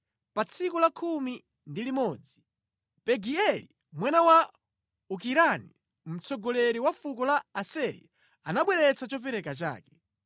Pa tsiku la khumi ndi chimodzi, Pagieli mwana wa Okirani, mtsogoleri wa fuko la Aseri, anabweretsa chopereka chake.